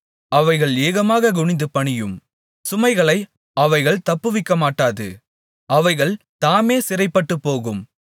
அவைகள் ஏகமாகக் குனிந்து பணியும் சுமைகளை அவைகள் தப்புவிக்கமாட்டாது அவைகள் தாமே சிறைப்பட்டுப்போகும்